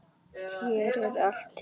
Hér er allt til alls.